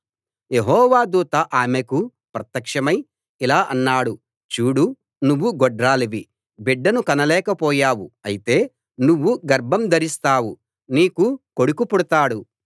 యెహోవా దూత ఆమెకు ప్రత్యక్షమై ఇలా అన్నాడు చూడు నువ్వు గొడ్రాలివి బిడ్డను కనలేకపోయావు అయితే నువ్వు గర్భం ధరిస్తావు నీకు కొడుకు పుడతాడు